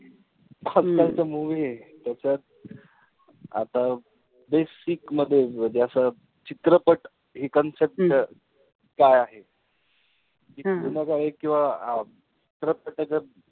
आजकालच्या movie ए. त्याच्यात आता तेच basic मध्ये म्हणजे असं चित्रपट हि concept काय आहे. जुन्याकाळी किंवा